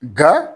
Nga